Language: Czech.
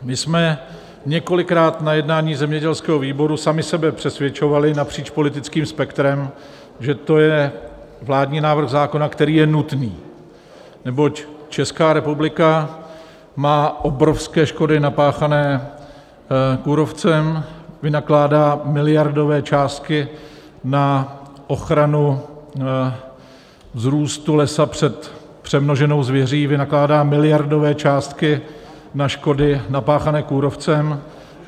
My jsme několikrát na jednání zemědělského výboru sami sebe přesvědčovali napříč politickým spektrem, že to je vládní návrh zákona, který je nutný, neboť Česká republika má obrovské škody napáchané kůrovcem, vynakládá miliardové částky na ochranu vzrůstu lesa před přemnoženou zvěří, vynakládá miliardové částky na škody napáchané kůrovcem.